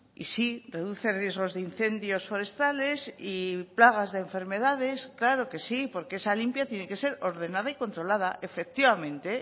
y sí reduce riesgos de incendios forestales y plagas de enfermedades claro que sí porque esa limpia tiene que ser ordenada y controlada efectivamente